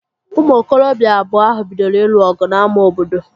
Ụmụ okorobịa abụọ ahụ bidoro ịlụ ọgụ n'ámá obodo